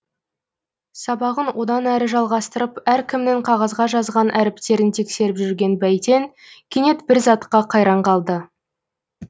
сабағын одан әрі жалғастырып әркімнің қағазға жазған әріптерін тексеріп жүрген бәйтен кенет бір затқа қайран қалды